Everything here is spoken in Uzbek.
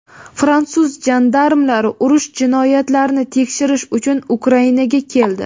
Fransuz jandarmlari urush jinoyatlarini tekshirish uchun Ukrainaga keldi;.